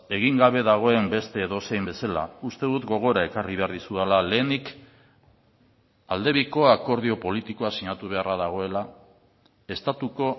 egin gabe dagoen beste edozein bezala uste dut gogora ekarri behar dizudala lehenik aldebiko akordio politikoa sinatu beharra dagoela estatuko